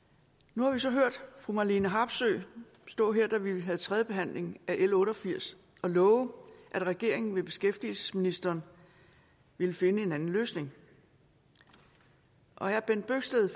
nu har vi så hørt fru marlene harpsøe stå her da vi havde tredje behandling af l otte og firs og love at regeringen ved beskæftigelsesministeren ville finde en anden løsning og herre bent bøgsted